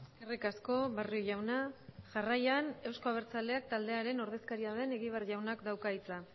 eskerrik asko barrio jauna jarraian eusko abertzaleak taldearen ordezkaria den egibar jaunak dauka hitza